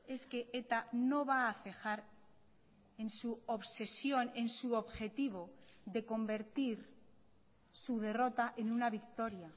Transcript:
es que eta no va a cejar en su obsesión en su objetivo de convertir su derrota en una victoria